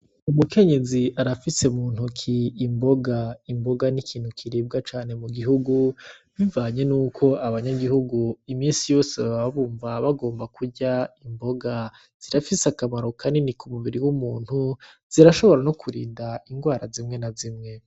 Umukenyezi arafise mu ntoke imboga. Imboga ni ikintu kiribwa cane mu gihugu bivanye nuko abanyagihugu imisi yose baba bumva bagomba kurya imboga. Zirafise akamaro kanini ku mubiri w'umuntu, zirashobora no kurinda ingwara zimwe na zimwe.